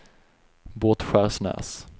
Båtskärsnäs